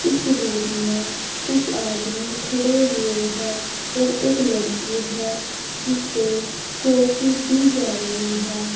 इस रूम में कुछ आदमी खड़े हुए है और एक लड़की है जिसे ट्रॉफी दी जा रही है।